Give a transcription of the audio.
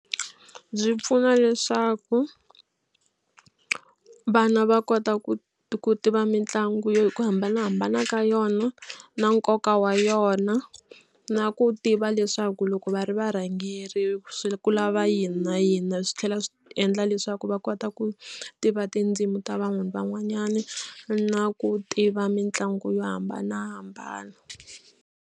Byi pfuna leswaku vana va kota ku ku tiva mitlangu yo hi ku hambanahambana ka yona na nkoka wa yona na ku tiva leswaku loko va ri varhangerile swi ku lava yini na yini swi tlhela swi endla leswaku va kota ku tiva tindzimi ta vanhu van'wanyana na ku tiva mitlangu yo hambanahambana.